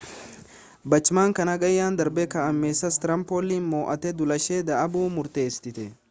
bachmann kan hagayya darbee kan ames stram poll moo'atte duulashee dhaabuu murteessite